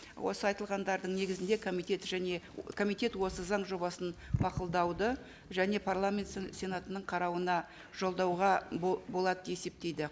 осы айтылғандардың негізінде комитет және комитет осы заң жобасын мақұлдауды және парламент сенатының қарауына жолдауға болады деп есептейді